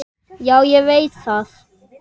Já, ég veit það